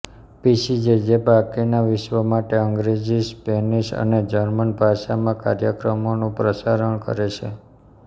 પીસીજેજે બાકીના વિશ્વ માટે અંગ્રેજી સ્પેનિસ અને જર્મન ભાષામાં કાર્યક્રમોનું પ્રસારણ કરે છે